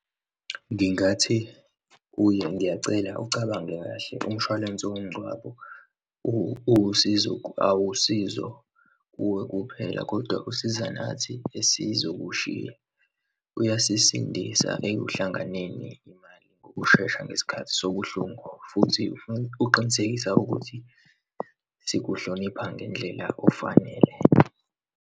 Ngingathi kuye, ngiyacela uwucabange kahle umshwalense womngcwabo, uwusizo, awusizo kuwe kuphela kodwa usiza nathi esizokushiya. Uyasisindisa ekuhlanganeni imali ngokushesha ngesikhathi sobuhlungu futhi uqinisekisa ukuthi sikuhloniphe ngendlela ofanele.